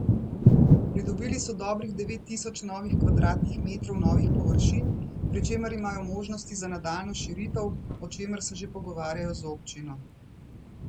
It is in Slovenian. Pridobili so dobrih devet tisoč novih kvadratnih metrov novih površin, pri čemer imajo možnosti za nadaljnjo širitev, o čemer se že pogovarjajo z občino.